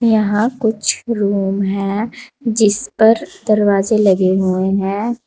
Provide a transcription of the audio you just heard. यहां कुछ रूम हैं जिस पर दरवाजे लगे हुए हैं।